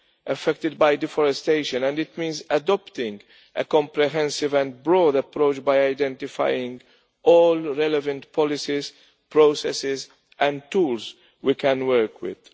affected by deforestation and it means adopting a comprehensive and broad approach by identifying all the relevant policies, processes and tools we can work with.